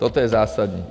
Toto je zásadní.